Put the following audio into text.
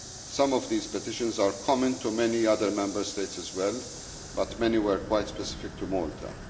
Some of these petitions are common to many other Member States as well, but many were quite specific to Malta.